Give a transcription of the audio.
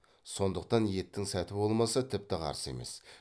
сондықтан еттің сәті болмаса тіпті қарсы емес